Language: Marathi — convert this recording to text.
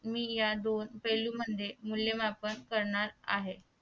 मी या दोन पैलू म्हणजे मूल्यमापन करणार आहे